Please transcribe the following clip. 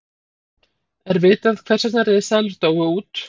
er vitað hvers vegna risaeðlur dóu út